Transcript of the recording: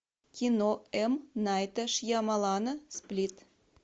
кино м найта шьямалана сплит